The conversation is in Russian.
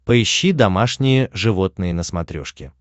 поищи домашние животные на смотрешке